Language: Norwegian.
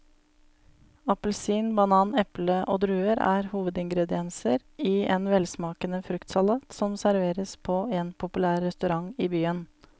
Appelsin, banan, eple og druer er hovedingredienser i en velsmakende fruktsalat som serveres på en populær restaurant i byen.